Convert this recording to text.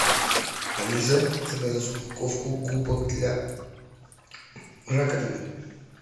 алиса закажи упаковку губок для раковины